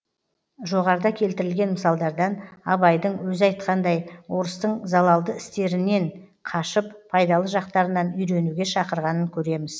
жоғарыда келтірілген мысалдардан абайдың өзі айтқандай орыстың залалды істерінен қашып пайдалы жақтарынан үйренуге шақырғанын көреміз